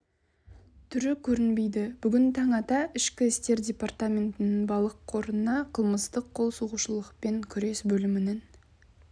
түрі көрінбейді бүгін таң ата ішкі істер департаментінің балық қорына қылмыстық қол сұғушылықпен күрес бөлімінің